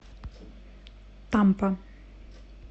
тампа